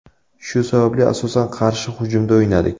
Shu sababli, asosan qarshi hujumda o‘ynadik.